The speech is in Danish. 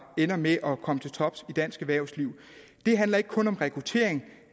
ender med at komme til tops i dansk erhvervsliv det handler ikke kun om rekruttering